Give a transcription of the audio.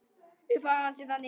Upphaf hans er þannig